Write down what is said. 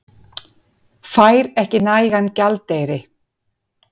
Fær ekki nægan gjaldeyri